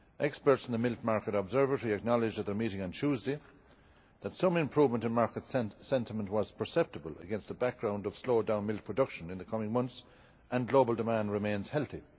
Experts in the Milk Market Observatory acknowledged at their meeting on Tuesday that some improvement in market sentiment was perceptible, against a background of slowed-down milk production in the coming months, and global demand remains healthy.